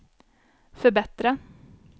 förbättra